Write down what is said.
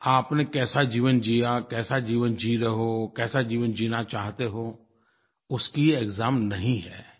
आपने कैसा जीवन जिया कैसा जीवन जी रहे हो कैसा जीवन जीना चाहते हो उसकी एक्साम नहीं है